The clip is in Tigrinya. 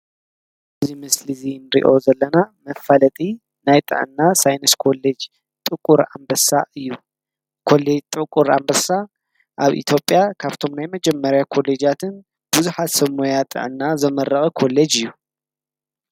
እዙይ ምስል ዙይ ንዮ ዘለና መፋለጢ ናይ ጥዕእና ሳይንስ ኮለጅ ጥቊር ኣምበሳ እዩ ኮለጅ ጥቊር ኣምርሳ ኣብ ኢቲዮጲያ ካብቶም ናይ መጀመርያ ኮሌጃያትን ብዙሃት ሰብሞያ ጥዕና ዘመረቐ ኮለጅ እዩ።